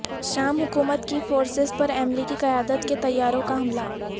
شام حکومت کی فورسز پر امریکی قیادت کے طیاروں کا حملہ